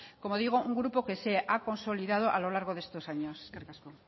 como digo un grupo que se ha consolidado a lo largo de estos años eskerrik asko